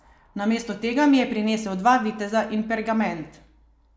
Namesto tega mi je prinesel dva viteza in pergament.